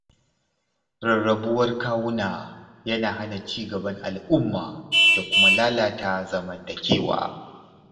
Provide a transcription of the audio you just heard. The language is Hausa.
Rarrabuwar kawuna yana hana ci gaban al’umma da kuma lalata zamantakewa.